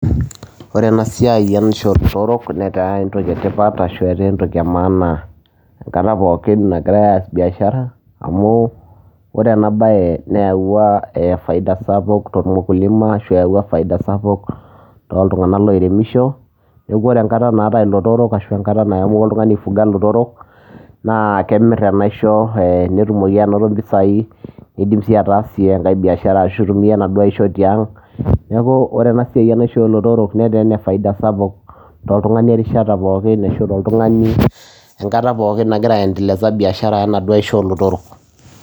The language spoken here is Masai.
Ore ena siai enaisho olootorok netaa entoki e tipat ashu etaa entoki e maana enkata poookin nagirai aas biashara amu ore ena baye nayauwua faida sapuk tormukulima ashu eyauwua faida sapuk toltung'anak lairemisho. Neeku ore enkata naatai ilotorok ashu enkata naiamua oltung'ani aifuga ilotorok, naa kemir enaisho netumoki anoto mpisai niidim sii ataasie enkae biashara ashu itumia enaduo aisho tiang'. Neeku ore ena siai enaisho oo lotorok netaa ene faida sapuk toltung'ani erishata pookin ashu toltung'ani enkata pookin nagira aiendeleza biashara enaduo aisho oolotorok.